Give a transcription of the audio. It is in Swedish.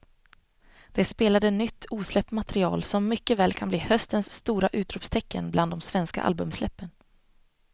De spelade nytt osläppt material som mycket väl kan bli höstens stora utropstecken bland de svenska albumsläppen.